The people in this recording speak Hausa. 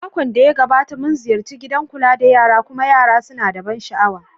Makon da ya gabata, mun ziyarci gidan kula da yara kuma yara suna da ban sha'awa.